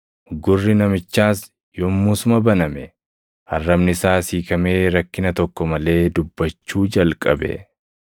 Gurri namichaas yommusuma baname; arrabni isaas hiikamee rakkina tokko malee dubbachuu jalqabe.